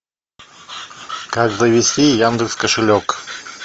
как завести яндекс кошелек